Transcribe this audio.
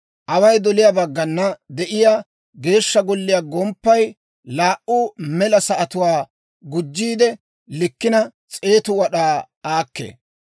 Away doliyaa baggana de'iyaa Geeshsha Golliyaa gomppay laa"u mela sa'atuwaa gujjiide likkina, 100 wad'aa aakkee.